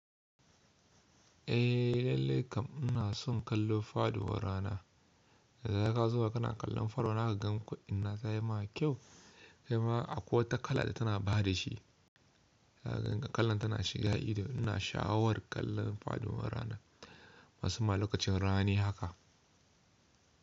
Eh lallai kam ina son kallon faduwar rana. Da zaran ka zauna kana kallon faduwan rana zaka ga ko ina se ya ma kyau kai ma akwai wata kala da tana ba da shi. Ka gan kallan tana shiga ido. Ina sha'awar kallon faduwar rana. Masumma lokacin rana ne haka.